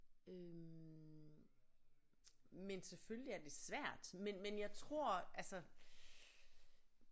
Øh men selvfølgelig er det svært men men jeg tror altså